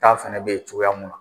ta fana bɛ ye cogoya mun na.